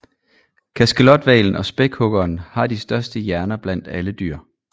Kaskelothvalen og spækhuggeren har de største hjerner blandt alle dyr